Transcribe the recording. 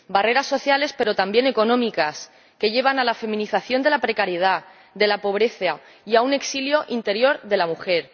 Barreras sociales, pero también económicas, que llevan a la feminización de la precariedad, de la pobreza, y a un exilio interior de la mujer.